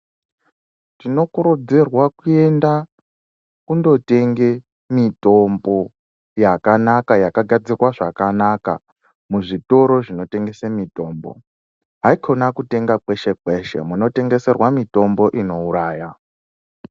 Tinokurudzirwa kuenda kundotenga mitombo yakanaka yakagadzirwa zvakanaka muzvitoro zvinotengesa mitombo haikona kutengeserwa mitombo inouraya.